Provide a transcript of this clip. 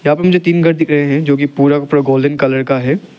यहां पर मुझे तीन घर दिख रहे हैं जो की पूरा का गोल्डन कलर का है।